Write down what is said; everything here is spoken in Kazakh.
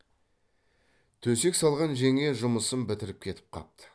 төсек салған жеңге жұмысын бітіріп кетіп қапты